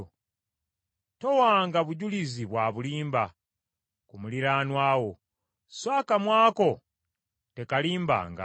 Towanga bujulizi bwa bulimba ku muliraanwa wo, so akamwa ko tekalimbanga.